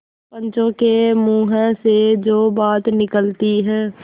पंचों के मुँह से जो बात निकलती है